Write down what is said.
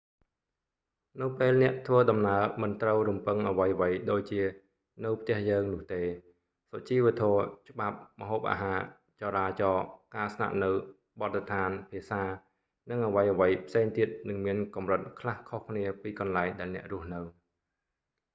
នៅពេលអ្នកធ្វើដំណើរ មិនត្រូវរំពឹងអ្វីៗដូចជា នៅផ្ទះយើង នោះទេ សុជីវធម៌ ច្បាប់ ម្ហូបអាហារ ចរាចរណ៍ ការស្នាក់នៅ បទដ្ឋាន ភាសា និងអ្វីៗផ្សេងទៀតនឹងមានកម្រិតខ្លះខុសគ្នាពីកន្លែងដែលអ្នករស់នៅ